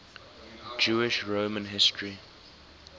jewish roman history